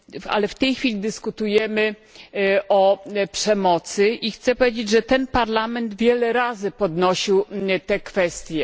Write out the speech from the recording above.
Ale w tej chwili dyskutujemy o przemocy i chcę powiedzieć, że ten parlament wiele razy podnosił tę kwestię.